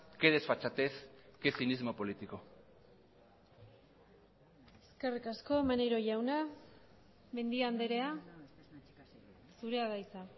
qué desfachatez qué cinismo político eskerrik asko maneiro jauna mendia andrea zurea da hitza